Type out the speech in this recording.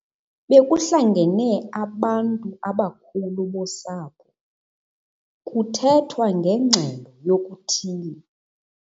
Bekuhlangene abantu abakhulu bosapho kuthethwa ngengxelo yokuthile.